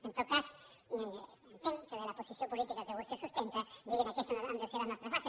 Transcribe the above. en tot cas entenc que de la posició política que vostè sustenta diguin aquestes han de ser les nostres bases